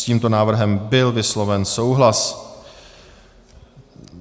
S tímto návrhem byl vysloven souhlas.